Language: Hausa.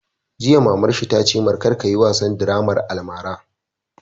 Jiya mamar shi ta ce mai "kar ka yi wasan draman almara"!